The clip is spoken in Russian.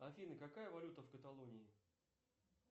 афина какая валюта в каталонии